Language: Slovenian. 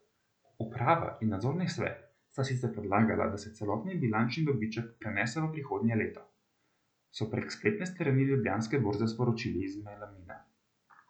Uprava in nadzorni svet sta sicer predlagala, da se celotni bilančni dobiček prenese v prihodnje leto, so prek spletne strani Ljubljanske borze sporočili iz Melamina.